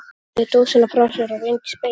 Lagði dósina frá sér og rýndi í spegilinn.